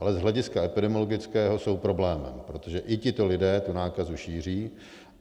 Ale z hlediska epidemiologického jsou problémem, protože i tito lidé tu nákazu šíří.